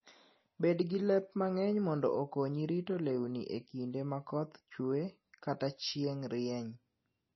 Bed gi lep mang'eny mondo okonyi rito lewni e kinde ma koth chwe kata chieng' rieny.